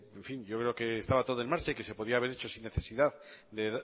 en fin yo creo que estaba todo en marcha y que se podía haber hecho sin necesidad de